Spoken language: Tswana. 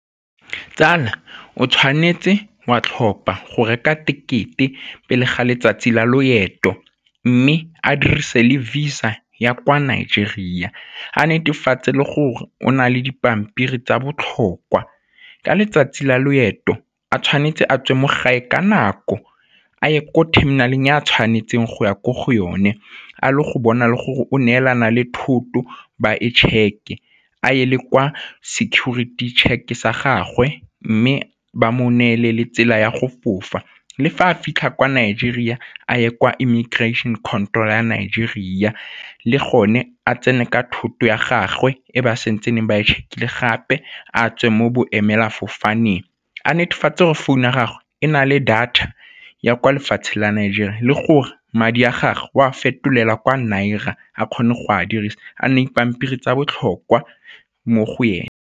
Tsala o tshwanetse wa tlhopa go reka tekete pele ga letsatsi la loeto, mme a dirise le Visa ya kwa Nigeria, a netefatse le gore o na le dipampiri tsa botlhokwa. Ka letsatsi la loeto a tshwanetse a tswe mo gae ka nako a ye ko terminal-eng e a tshwanetseng go ya ko go yone, a le go bona le gore o neelana le thoto ba e check-e a eye le kwa security check sa gagwe, mme ba mo neele le tsela ya go fofa. Le fa a fitlha kwa Nigeria a ye kwa immigration control ya Nigeria le gone a tsene ka thoto ya gagwe e ba santsaneng ba e check-ile gape, a tswe mo bo emela sefofaneng a netefatse gore phone ya gagwe e na le data ya kwa lefatshe la Nigeria le gore madi a gagwe o a fetolelwa kwa nira a kgone go a dirisa, a nne le dipampiri tsa botlhokwa mo go yone.